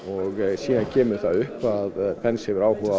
síðan kemur það upp að Pence hefur áhuga á